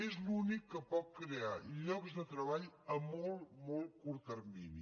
és l’únic que pot crear llocs de treball a molt molt curt termini